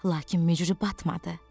Lakin mücü batmadı.